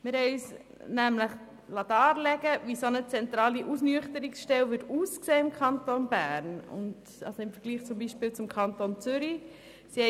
Wir haben uns darlegen lassen, wie eine zentrale Ausnüchterungsstelle im Kanton Bern im Vergleich zum Kanton Zürich aussehen würde.